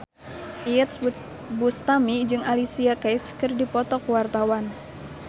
Iyeth Bustami jeung Alicia Keys keur dipoto ku wartawan